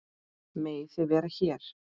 Megið þið vera hér?